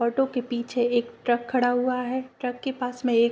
auto के पीछे एक ट्रक खड़ा हुआ है ट्रक के पास में एक --